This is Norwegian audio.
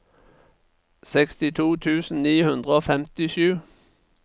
sekstito tusen ni hundre og femtisju